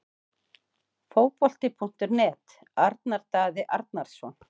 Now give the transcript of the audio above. Fótbolti.net- Arnar Daði Arnarsson